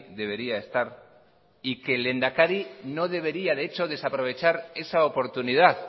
debería estar y que el lehendakari no debería de hecho desaprovechar esa oportunidad